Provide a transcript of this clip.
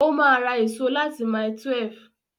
Ó ma ra èso láti mile 12